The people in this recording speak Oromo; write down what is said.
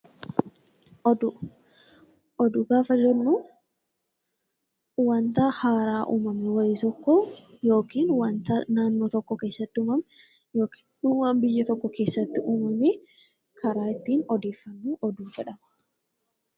Oduu, oduu gaafa jennu wanta haaraa uumamee wayii tokko yookiin wanta naannoo tokko keessatti uumame yookiin waan biyya tokko keessatti uumame karaa ittiin oddeeffamu oduu jedhama.